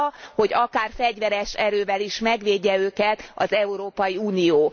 Arra, hogy akár fegyveres erővel is megvédje őket az Európai Unió.